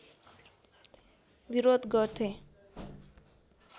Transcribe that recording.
विरोध गर्थे